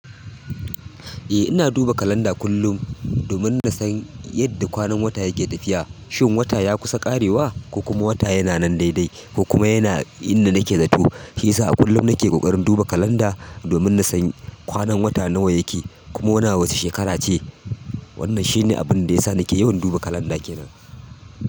Eh ina duba kalanda kullum domin na san yadda kwanan wata yake tafiya. Shin wata ya kusa ƙarewa ko kuma wata yana nan daidai ko kuma yana inda nake zato. Shi yasa a kullum nake ƙoƙarin duba kalanda domin na san kwanan wata nawa yake kuma muna wacce shekara ce. Wannan shine abin da ya sa nake yawan duba kalanda kenan.